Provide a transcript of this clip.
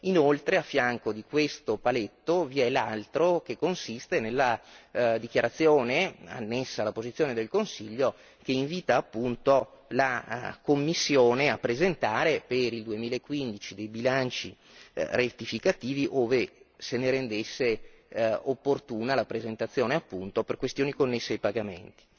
Inoltre, a fianco di questo paletto, vi è l'altro che consiste nella dichiarazione annessa alla posizione del Consiglio che invita appunto la Commissione a presentare per il 2015 dei bilanci rettificativi ove se ne rendesse opportuna la presentazione, appunto, per questioni connesse ai pagamenti.